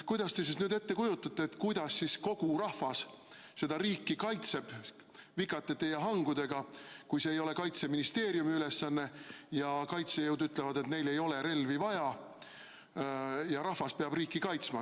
Kuidas te nüüd ette kujutate, kuidas siis kogu rahvas seda riiki kaitseb, kas vikatite ja hangudega, kui see ei ole Kaitseministeeriumi ülesanne ja kaitsejõud ütlevad, et neil ei ole relvi vaja ja rahvas peab riiki kaitsma?